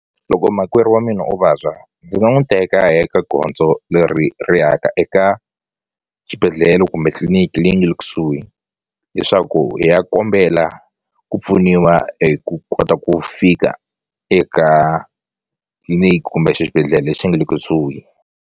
Loko makwerhu wa mina o vabya ndzi nga n'wi teka hi ya ka gondzo leri ri ya ka eka xibedhlele kumbe tliliniki leyi nge le kusuhi leswaku hi ya kombela ku pfuniwa hi ku kota ku fika eka tliliniki kumbe xibedhlele lexi nge le kusuhi.